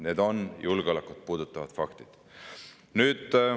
Need on julgeolekut puudutavad faktid.